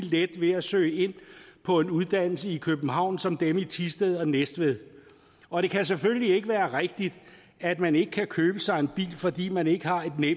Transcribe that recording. let ved at søge ind på en uddannelse i københavn som dem i thisted og næstved og det kan selvfølgelig ikke være rigtigt at man ikke kan købe sig en bil fordi man ikke har nemid